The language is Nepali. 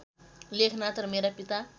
लेखनाथ र मेरा पिता